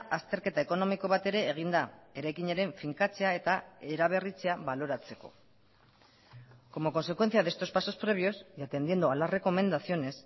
azterketa ekonomiko bat ere egin da eraikinaren finkatzea eta eraberritzea baloratzeko como consecuencia de estos pasos previos y atendiendo a las recomendaciones